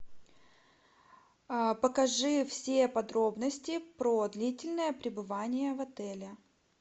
покажи все подробности про длительное пребывание в отеле